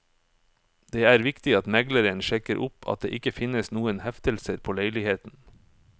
Det er viktig at megleren sjekker opp at det ikke finnes noen heftelser på leiligheten.